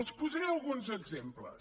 els posaré alguns exemples